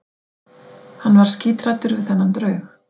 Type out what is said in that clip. Hann var skíthræddur við þennan draug.